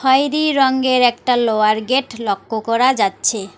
খয়েরি রঙ্গের একটা লোহার গেট লক্ক করা যাচ্ছে।